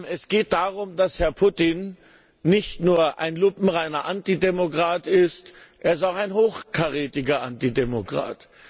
Es geht darum, dass Herr Putin nicht nur ein lupenreiner Antidemokrat ist, er ist auch ein hochkarätiger Antidemokrat.